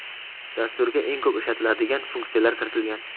Dasturga eng ko‘p ishlatiladigan funksiyalar kiritilgan.